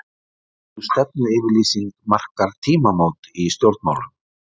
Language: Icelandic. Sú stefnuyfirlýsing markar tímamót í stjórnmálum.